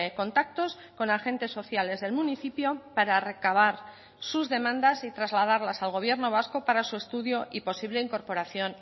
contactos con agentes sociales del municipio para recabar sus demandas y trasladarlas al gobierno vasco para su estudio y posible incorporación